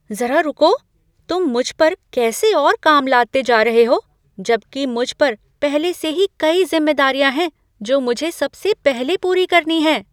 ज़रा रुको, तुम मुझ पर कैसे और काम लादते जा रहे हो, जबकि मुझ पर पहले से ही कई ज़िम्मेदारियां हैं जो मुझे सबसे पहले पूरी करनी हैं।